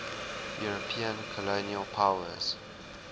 european colonial powers